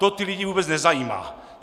To ty lidi vůbec nezajímá!